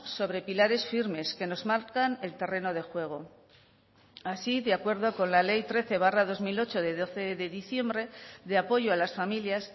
sobre pilares firmes que nos marcan el terreno de juego así de acuerdo con la ley trece barra dos mil ocho de doce de diciembre de apoyo a las familias